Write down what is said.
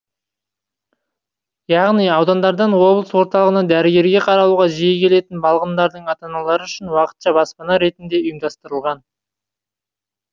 яғни аудандардан облыс орталығына дәрігерге қаралуға жиі келетін балғындардың ата аналары үшін уақытша баспана ретінде ұйымдастырылған